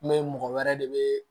N be mɔgɔ wɛrɛ de be